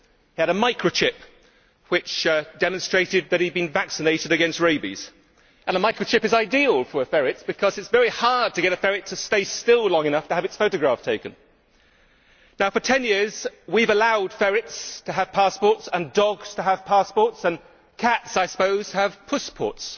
He had a microchip which demonstrated that he had been vaccinated against rabies, and a microchip is ideal for a ferret, because it is very hard to get a ferret to stay still long enough to have its photograph taken. For 10 years we have allowed ferrets to have passports and dogs to have passports, and cats, I suppose, have pussports,